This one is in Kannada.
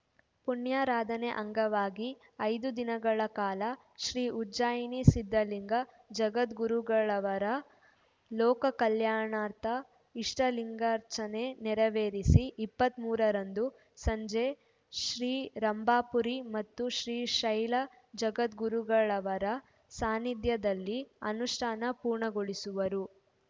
ಪುಣ್ಯಾರಾಧನೆ ಅಂಗವಾಗಿ ಐದು ದಿನಗಳ ಕಾಲ ಶ್ರೀ ಉಜ್ಜಯಿನಿ ಸಿದ್ಧಲಿಂಗ ಜಗದ್ಗುರುಗಳವರು ಲೋಕ ಕಲ್ಯಾಣಾರ್ಥ ಇಷ್ಟಲಿಂಗಾರ್ಚನೆ ನೆರವೇರಿಸಿ ಇಪ್ಪತ್ತ್ ಮೂರರಂದು ಸಂಜೆ ಶ್ರೀ ರಂಭಾಪುರಿ ಮತ್ತು ಶ್ರೀ ಶೈಲ ಜಗದ್ಗುರುಗಳವರ ಸಾನ್ನಿಧ್ಯದಲ್ಲಿ ಅನುಷ್ಠಾನ ಪೂರ್ಣಗೊಳಿಸುವರು